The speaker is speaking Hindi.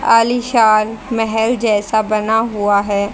आलीशान महल जैसा बना हुआ है।